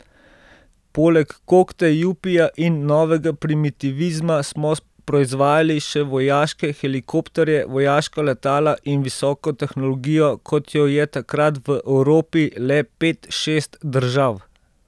Poleg kokte, jupija in novega primitivizma smo proizvajali še vojaške helikopterje, vojaška letala in visoko tehnologijo, kot jo je takrat v Evropi le pet, šest držav.